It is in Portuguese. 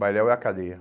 Bailel é a cadeia.